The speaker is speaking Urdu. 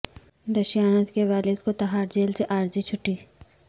دشیانت کے والد کو تہاڑ جیل سے عارضی چھٹی